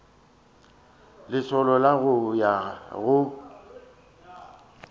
lesolo la go ya go